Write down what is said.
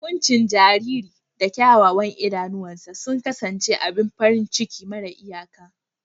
Kuncin jaririn da kyawawan idanuwansa sun kasance abin farin ciki mara iyaka.